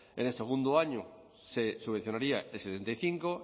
en el segundo año se subvencionaría el setenta y cinco